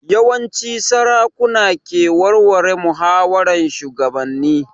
Yawanci sarakuna ke warware muhawaran shugabannin